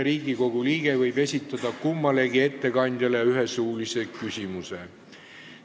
Riigikogu liige võib esitada kummalegi ettekandjale ühe suulise küsimuse.